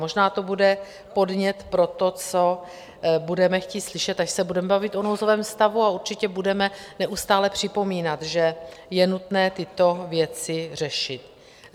Možná to bude podnět pro to, co budeme chtít slyšet, až se budeme bavit o nouzovém stavu, a určitě budeme neustále připomínat, že je nutné tyto věci řešit.